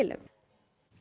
um